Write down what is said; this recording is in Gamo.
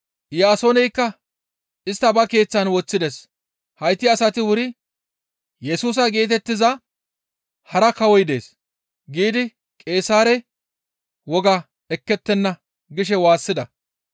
Iyaasooneykka istta ba keeththan woththides; hayti asati wuri, ‹Yesusa geetettiza hara kawoy dees› giidi Qeesaare woga ekkettenna» gishe waassida.